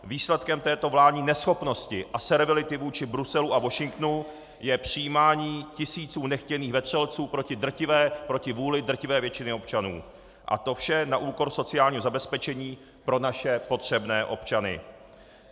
Výsledkem této vládní neschopnosti a servility vůči Bruselu a Washingtonu je přijímání tisíců nechtěných vetřelců proti vůli drtivé většiny občanů, a to vše na úkor sociálního zabezpečení pro naše potřebné občany.